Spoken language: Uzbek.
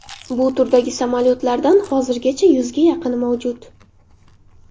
Bu turdagi samolyotlardan hozirgacha yuzga yaqini mavjud.